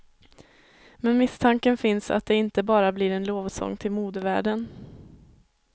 Men misstanken finns att det inte bara blir en lovsång till modevärlden.